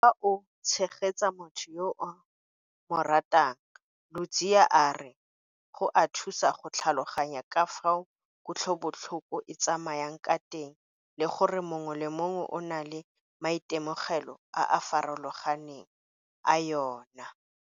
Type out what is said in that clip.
Fa o tshegetsa motho yo o mo ratang, Ludziya a re go a thusa go tlhaloganya ka fao kutlobotlhoko e tsamayang ka teng le gore mongwe le mongwe o na le maitemogelo a a farologaneng a yona.